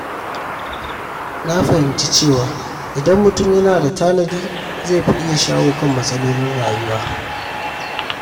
Na fahimci cewa idan mutum yana tanadi, zai fi iya shawo kan matsalolin rayuwa.